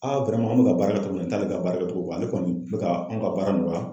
an be ka baara kɛ cogo min na, nin t'ale ka baara kɛ cogo la. Ale kɔni be ka anw ka baara nɔgɔya.